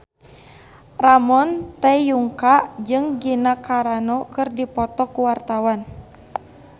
Ramon T. Yungka jeung Gina Carano keur dipoto ku wartawan